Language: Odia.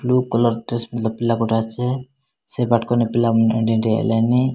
ବ୍ଲୁ କଲର୍ ଡ୍ରେସ୍ ପିନ୍ଧା ପିଲା ଗୋଟେ ଅଛି ସେ ପିଲା ହେଲେନି।